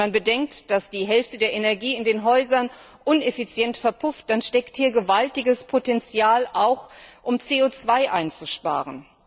Wenn man bedenkt, dass die Hälfte der Energie in den Häusern uneffizient verpufft, dann steckt hier auch gewaltiges Potential, um CO 2 einzusparen.